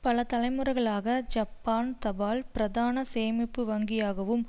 பல தலைமுறைகளாக ஜப்பான் தபால் பிரதான சேமிப்பு வங்கியாகவும்